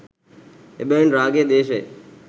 එබැවින් රාගය, ද්වේශය